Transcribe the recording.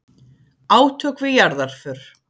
Átök við jarðarför